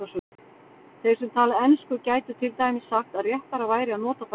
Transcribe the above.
Þeir sem tala ensku gætu til dæmis sagt að réttara væri að nota bara ensku.